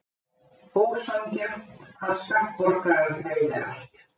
Ósanngjarnt að skattborgarar greiði allt